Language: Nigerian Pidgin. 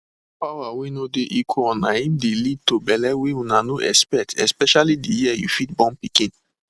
power wey no dey equalna im de lead to belle wey una no expect especially the year you fit born pikin